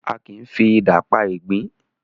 Àki ń fi idà pá igbin